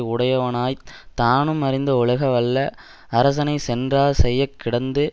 உடையவனாய் தானும் அறிந்து ஒழுக வல்ல அரசனை சென்றார் செய்ய கிடந்து